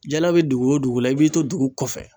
Jala be dugu wo dugu la i b'i to dugu kɔfɛ